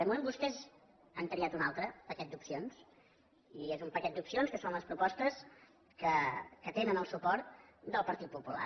de moment vostès han triat un altre paquet d’opcions i és un paquet d’opcions que són les propostes que tenen el suport del partit popular